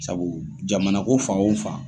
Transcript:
Sabu jamana ko fan o fan.